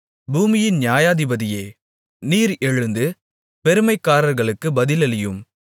பூமியின் நியாயாதிபதியே நீர் எழுந்து பெருமைக்காரர்களுக்குப் பதிலளியும்